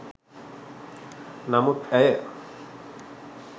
නමුත් ඇය